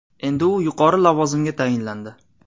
Endi u yuqori lavozimga tayinlandi.